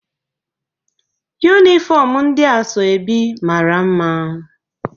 Yụnifọm ndị asoebi mara mma